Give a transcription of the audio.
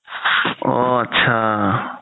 অ আতচা